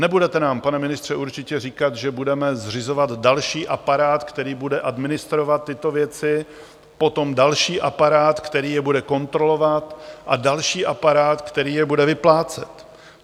Nebudete nám, pane ministře, určitě říkat, že budeme zřizovat další aparát, který bude administrovat tyto věci, potom další aparát, který je bude kontrolovat, a další aparát, který je bude vyplácet.